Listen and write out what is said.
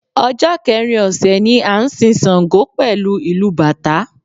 Ọjọ́ kẹrin ọ̀sẹ̀ ni a n sin Ṣàngó pẹ̀lú ìlù bàtá